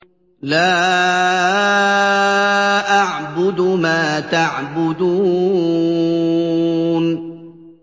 لَا أَعْبُدُ مَا تَعْبُدُونَ